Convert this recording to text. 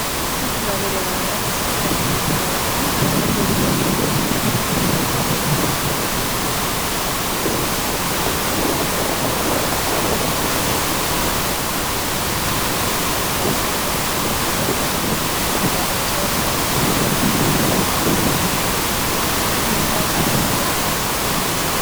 Kun kuduraalee garagaraa keessattuu raafuun karaarratti yoo gurguramu wantoota adda addaaf nu fayyada wantoota garaagaraa qaama keenyaaf fayyadu of keessaa qaba.